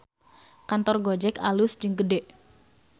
Kantor Gojek alus jeung gede